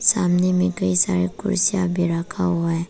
सामने में कई सारे कुर्सीयां भी रखा हुआ है।